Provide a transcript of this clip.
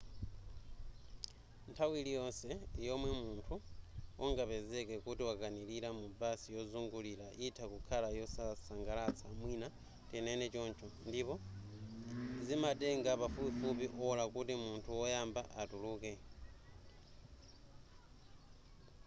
nthawi liyonse yomwe munthu ungapezeke kuti wakanilira mu basi yozungulira yitha kukhala yosasangalatsa mwina tinene choncho ndipo zimatenga pafupifupi ola kuti munthu woyamba atuluke